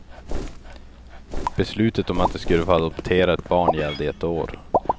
Beslutet om att de skulle få adoptera ett barn gällde i ett år.